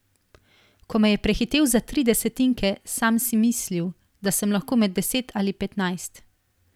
Ko me je prehitel za tri desetinke, sam si mislil, da sem lahko med deset ali petnajst.